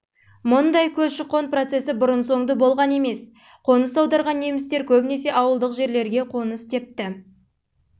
мұндай көші-қон процесі бұрын-соңды болған емес қоныс аударған немістер көбінесе ауылдық жерлерге қоныс тепті кейбір бөлігі